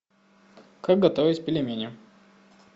как готовить пельмени